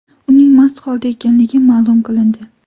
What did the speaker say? Uning mast holda ekanligi ma’lum qilindi.